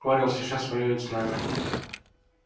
корел сейчас воюет с нами